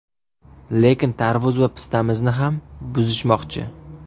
Lekin tarvuz va pistamizni ham buzishmoqchi.